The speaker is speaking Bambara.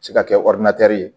Se ka kɛ csdɛtɛr ye